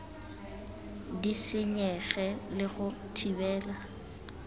di senyege le go thibela